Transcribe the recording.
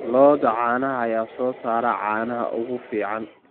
Lo'da caanaha ayaa soo saara caanaha ugu fiican.